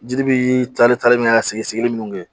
Jiri bi taari talen minɛ ka sigili minnu kɛ